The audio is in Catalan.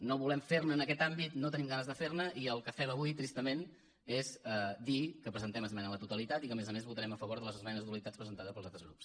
no volem fer ne en aquest àmbit no tenim ganes de fer ne i el que fem avui tristament és dir que presentem esmena a la totalitat i que a més a més votarem a favor de les esmenes a la totalitat presentades pels altres grups